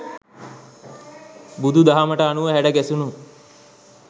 බුදු දහමට අනුව හැඩ ගැසුණු